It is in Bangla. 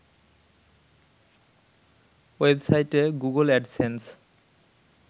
ওয়েবসাইটে গুগল অ্যাডসেন্স